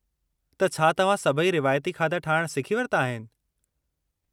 त छा तव्हां सभई रिवाइती खाधा ठाहिणु सिखी वरिता आहिनि?